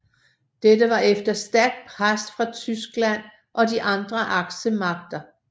Dette var efter stærkt pres fra Tyskland og de andre aksemagter